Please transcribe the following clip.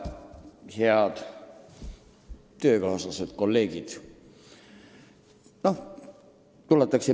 Head töökaaslased, kolleegid!